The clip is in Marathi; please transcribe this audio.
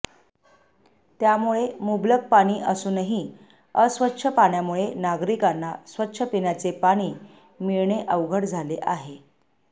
त्यामुळे मुबलक पाणी असूनही अस्वच्छ पाण्यामुळे नागरिकांना स्वच्छ पिण्याचे पाणी मिळणे अवघड झाले आहे